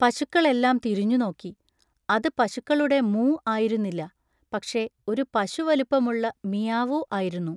പശുക്കളെല്ലാം തിരിഞ്ഞുനോക്കി. അത് പശുക്കളുടെ മൂ ആയിരുന്നില്ല, പക്ഷെ ഒരു പശുവലുപ്പമുള്ള മിയാവൂ ആയിരുന്നു!